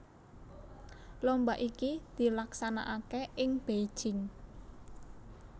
Lomba iki dilaksanakaké ing Beijing